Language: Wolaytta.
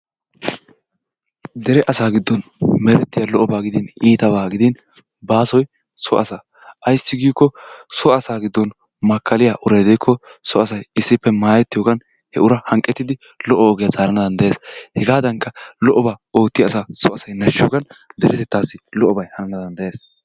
Dere asaa giddon merettiya lo"obaa gidin iitabaa gidin baasoyi so asaa. Ayssi giikko so asaa giddon makkaliya urayi de"ikko so asayi issippe maayettiyoyogan he uraa hanqqettidi lo"o ogiya zaarana danddayes. Hegaadankka lo"obaa oottiya asaa so asayi nashshiyogan deretettaassi lo"obayi hanana danddayes.